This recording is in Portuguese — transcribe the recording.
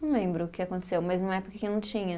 Não lembro o que aconteceu, mas numa época que não tinha.